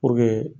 Puruke